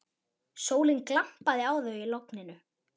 Sólin glampaði á þau í logninu.